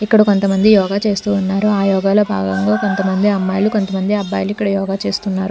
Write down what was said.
ఇక్కడ కొంతమంది యోగా చేస్తూ ఉన్నారు ఆ యోగల భాగంగా కొంతమంది అమ్మాయిలు కొంతమంది అబ్బాయిలు ఇక్కడ యోగా చేస్తూ ఉన్నారు.